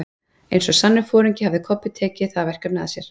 Eins og sannur foringi hafði Kobbi tekið það verkefni að sér.